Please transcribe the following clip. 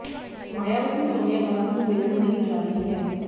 ਮਾਇਆਵਤੀ ਸੋਨੀਆ ਗਾਂਧੀ ਨੂੰ ਮਿਲਣ ਨਹੀਂ ਜਾ ਰਹੀ ਹੈ